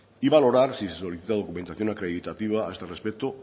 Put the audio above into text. y valorar si se solicita documentación acreditativa a este respecto